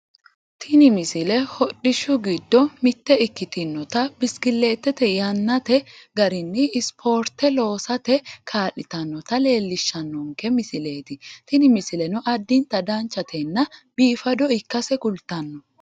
tini misile hodhishshu giddo mitte ikkitinota biskileette yannate garinni spoorte loosate kaa'litannota leellishshannonke misileeti tini misileno addinta danchatenna biifado ikkase kultanno